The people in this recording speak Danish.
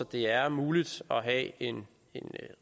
det er muligt at en